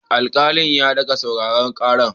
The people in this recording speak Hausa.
Alkalin ya dage sauraron karar.